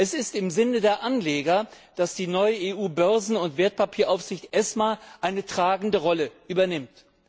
Es ist im Sinne der Anleger, dass die neue EU Börsen und Wertpapieraufsicht ESMA eine tragende Rolle übernimmt.